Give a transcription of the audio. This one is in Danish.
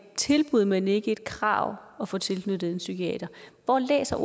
tilbud men ikke et krav at få tilknyttet en psykiater hvor læser